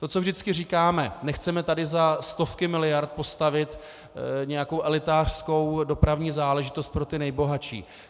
To, co vždycky říkáme, nechceme tady za stovky miliard postavit nějakou elitářskou dopravní záležitost pro ty nejbohatší.